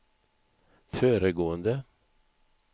föregående